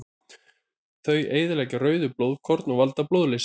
Þau eyðileggja rauð blóðkorn og valda blóðleysi.